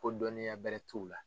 Ko dɔnniya bɛrɛ t'u la.